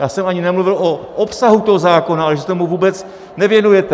Já jsem ani nemluvil o obsahu toho zákona, ale že se tomu vůbec nevěnujete.